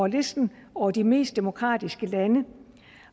listen over de mest demokratiske lande